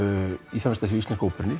í það minnsta hjá íslensku óperunni